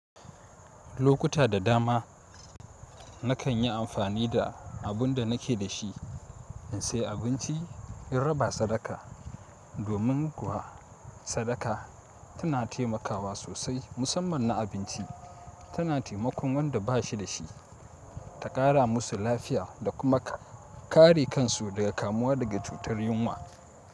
Lokuta da dama na kan yi amfani da abun da nake da shi in saya abinci in raba sadaka. Domin kuwa sadaka tana taimakawa sosai musamman na abinci tana taimakon wanda ba shi da shi ta ƙara musu lafiya da kuma kare kansu daga kamuwa daga cutar yunwa.